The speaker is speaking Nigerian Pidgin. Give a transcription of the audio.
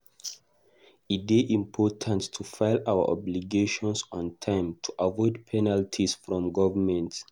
E dey important to file our obligations on time to avoid penalties from government.